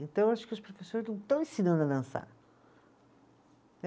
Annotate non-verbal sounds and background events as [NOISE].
Então, eu acho que os professores não estão ensinando a dançar. [UNINTELLIGIBLE]